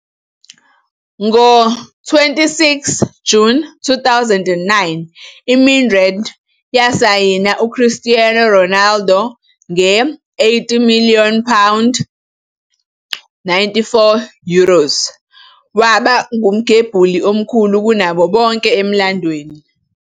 Ngo-26 June 2009, iMadrid yasayina uCristiano Ronaldo nge- 80 million pound, 94 million euros, waba ngumgembuli omkhulu kunabo bonke emlandweni.